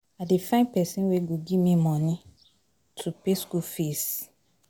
I dey find pesin wey go give me moni to pay school fees.